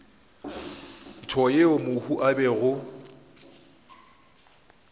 ntsho yeo mohu a bego